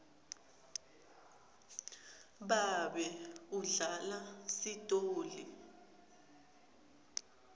babe udlala sitoli